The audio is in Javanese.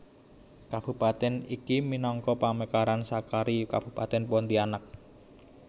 Kabupaten iki minangka pamekaran sakari Kabupatèn Pontianak